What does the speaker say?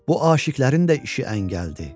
Bu aşiqərin də işi əynə gəldi.